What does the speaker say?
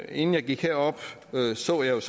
inden jeg gik herop så jeg